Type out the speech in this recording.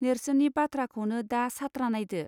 नेर्सोननि बाथ्राखौनो दा सात्रा नायदो.